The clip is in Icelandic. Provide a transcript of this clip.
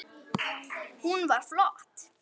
Hún var flott.